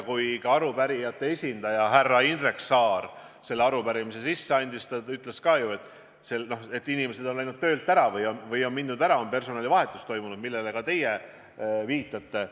Kui arupärijate esindaja härra Indrek Saar selle arupärimise sisse andis, ütles ta ju ka, et inimesed on läinud töölt ära või on toimunud personalivahetus, millele ka teie viitate.